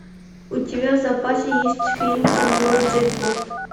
у тебя в запасе есть фильм кенгуру джекпот